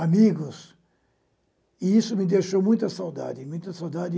amigos, e isso me deixou muita saudade muita saudade